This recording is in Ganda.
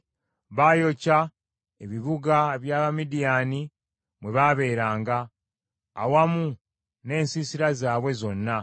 Baayokya ebibuga by’Abamidiyaani mwe baabeeranga, awamu n’ensiisira zaabwe zonna.